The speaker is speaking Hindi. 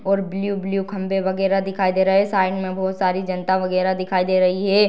और ब्लू - ब्लू खम्बे वगेरा दिखाई दे रहा है साइड में बोहोत सारी जनता वगेरा दिखाई दे रही है।